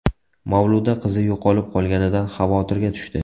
Mavluda qizi yo‘qolib qolganidan xavotirga tushdi.